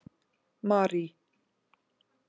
Marý